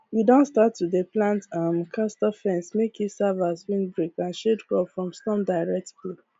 we don start to dey plant um castor fence make e serve as windbreak and shield crop from storm direct blow